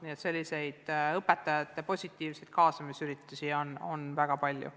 Nii et positiivseid õpetajate kaasamisüritusi on väga palju.